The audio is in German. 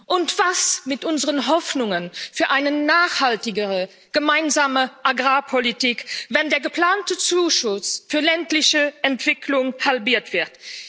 Und was ist mit unseren Hoffnungen für eine nachhaltigere Gemeinsame Agrarpolitik, wenn der geplante Zuschuss für ländliche Entwicklung halbiert wird?